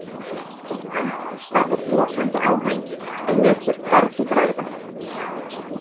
Konan starði brosandi á hann en lét sér hvergi bregða.